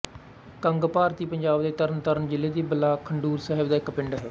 ਕੰਗ ਭਾਰਤੀ ਪੰਜਾਬ ਦੇ ਤਰਨਤਾਰਨ ਜ਼ਿਲ੍ਹੇ ਦੇ ਬਲਾਕ ਖਡੂਰ ਸਾਹਿਬ ਦਾ ਇੱਕ ਪਿੰਡ ਹੈ